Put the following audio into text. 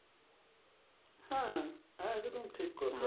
হ্যাঁ একদম ঠিক কথা।